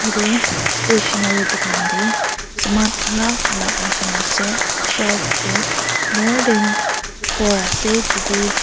tae stationary dukan tae saman alak alak rakhina ase shelf toh more than four ase tatae.